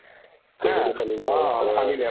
অ, ফালিলে